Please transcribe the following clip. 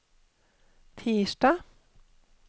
tirsdag